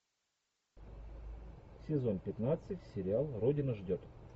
сезон пятнадцать сериал родина ждет